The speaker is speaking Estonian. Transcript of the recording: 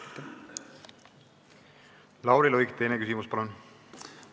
Lauri Luik, teine küsimus, palun!